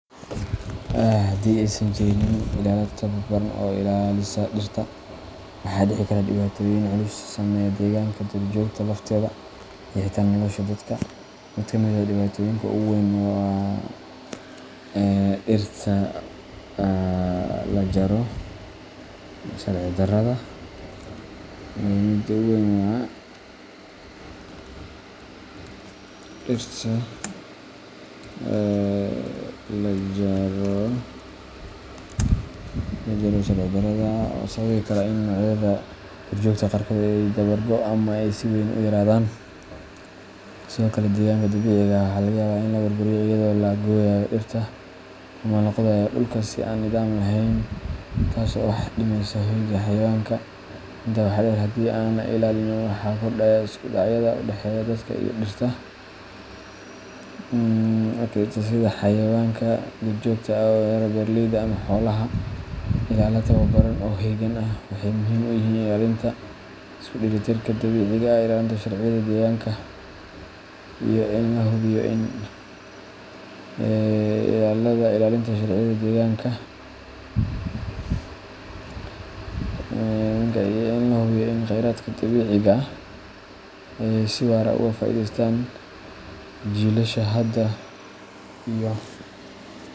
Haddii aysan jirin ilaalo tababaran oo ilaalisa dhirta, waxaa dhici kara dhibaatooyin culus oo saameeya deegaanka, duurjoogta lafteeda, iyo xitaa nolosha dadka. Mid ka mid ah dhibaatooyinka ugu weyn waa dhirta lajaro sharci darrada ah, oo sababi kara in noocyada duurjoogta qaarkood ay dabar go’aan ama ay si weyn u yaraadaan. Sidoo kale, deegaanka dabiiciga ah waxaa laga yaabaa in la burburiyo iyadoo la gooyayo dhirta ama la qodayo dhulka si aan nidaam lahayn, taas oo wax u dhimaysa hoyga xayawaanka. Intaa waxaa dheer, haddii aan la ilaalin, waxaa kordhaya isku dhacyada u dhexeeya dadka iyo dhirta, sida xayawaanka duurjoogta ah oo weerara beeraleyda ama xoolaha. Ilaalo tababaran oo heegan ah waxay muhiim u yihiin ilaalinta isku dheelitirka dabiiciga ah, ilaalinta sharciyada deegaanka, iyo in la hubiyo in kheyraadka dabiiciga ah ay si waara uga faa’iidaystaan jiilasha hadda iyo.